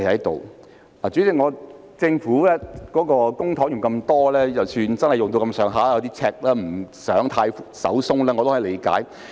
代理主席，政府動用大筆公帑，出現赤字，所以不想太"手鬆"，我也是可以理解的。